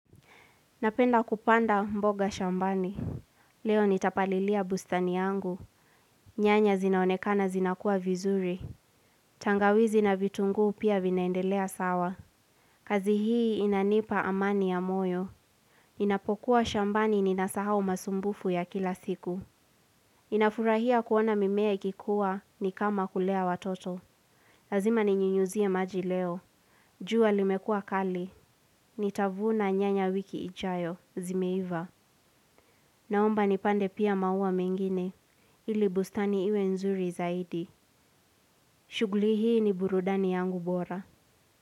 Napenda kupanda mboga shambani. Leo nitapalilia bustani yangu. Nyanya zinaonekana zinakua vizuri. Tangawizi na vitunguu pia vinaendelea sawa. Kazi hii inanipa amani ya moyo. Ninapokuwa shambani, ninasahau masumbufu ya kila siku. Ninafurahia kuona mimea ikikuwa ni kama kulea watoto. Lazima ninyunyizie maji leo. Jua limekua kali. Nitavuna nyanya wiki ijayo. Zimeiva. Naomba nipande pia maua mengine, ili bustani iwe nzuri zaidi. Shughuli hii ni burudani yangu bora.